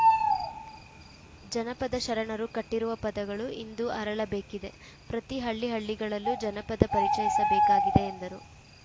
ಜನಪದ ಶರಣರು ಕಟ್ಟಿರುವ ಪದಗಳು ಇಂದು ಅರಳಬೇಕಿದೆ ಪ್ರತಿ ಹಳ್ಳಿಹಳ್ಳಿಗಳಲ್ಲೂ ಜನಪದ ಪರಿಚಯಿಸಬೇಕಾಗಿದೆ ಎಂದರು